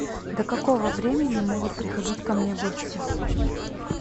до какого времени могут приходить ко мне гости